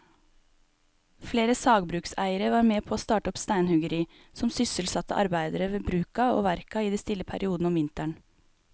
Flere sagbrukseiere var med å starte opp steinhuggeri som sysselsatte arbeidere ved bruka og verka i de stille periodene om vinteren.